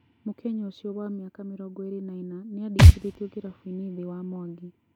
Mũkenya ũcio wa mĩaka mĩrongo ĩrĩ na ĩna nĩandĩkithĩtio kĩrabuinĩ thĩ wa Mwangi